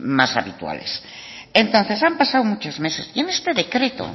más habituales entonces han pasado muchos meses y en este decreto